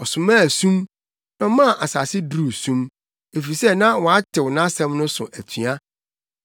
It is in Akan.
Ɔsomaa sum, na ɔmaa asase duruu sum, efisɛ na wɔatew nʼasɛm no so atua.